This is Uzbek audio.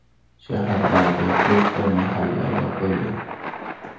Shahardagi to‘rtta mahalla yopildi.